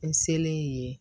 N selen yen